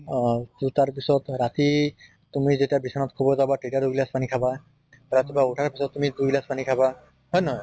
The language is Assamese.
অহ তʼ তাৰ পিছত ৰাতি তুমি যেতিয়া বিছনাত শুব যাবা তেতিয়া দুই গিলাছ পানী খাবা। ৰাতিপুৱা ওঠাৰ পিছত তুমি দুই গিলাছ পানী খাবা, হয় নে নহয়?